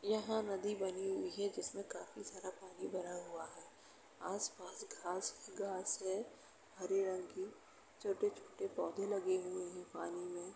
यहां नदी बनी हुई है जिसमें काफी सारा पानी भरा हुआ है। आसपास घास ही घास है हरे रंग की। छोटे-छोटे पौधे लगे हुए हैं पानी में।